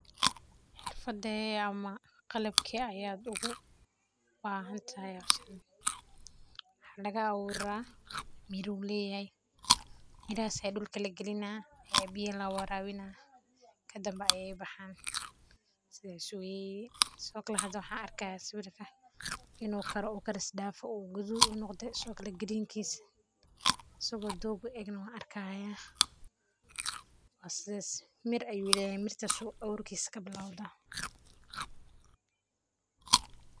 Waa geed laka awuro mirihiisa sii dhulka lokaliyo sii biyo loo warabiyo kadibna uu baxaa sidhokale maxan arkaa sawirka inu kare oona ukaris dafe oo kudud noqte sidhokale asago doog uegna wan arkaya, geedkan aburtisa wuxuu kabilawtaa miraha.